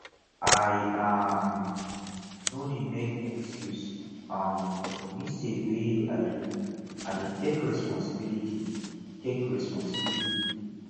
i um no dey make excuse um for di mistake wey i do i dey take resposibility take resposibility